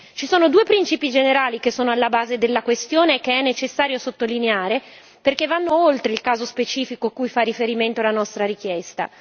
Ci sono due principi generali che sono alla base della questione che è necessario sottolineare perché vanno oltre il caso specifico cui fa riferimento la nostra richiesta.